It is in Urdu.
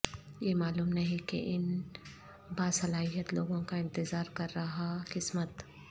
یہ معلوم نہیں کہ ان باصلاحیت لوگوں کا انتظار کر رہا قسمت